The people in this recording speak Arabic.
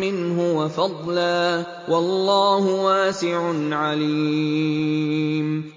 مِّنْهُ وَفَضْلًا ۗ وَاللَّهُ وَاسِعٌ عَلِيمٌ